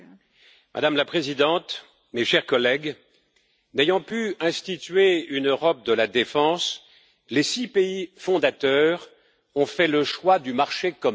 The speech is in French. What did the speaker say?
Madame la Présidente, chers collègues, n'ayant pu instituer une Europe de la défense, les six pays fondateurs ont fait le choix du marché commun.